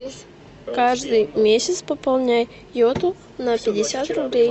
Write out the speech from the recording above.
каждый месяц пополняй йоту на пятьдесят рублей